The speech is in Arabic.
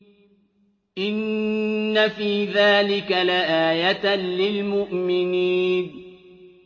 إِنَّ فِي ذَٰلِكَ لَآيَةً لِّلْمُؤْمِنِينَ